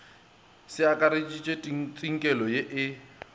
se akareditpe tsinkelo ye e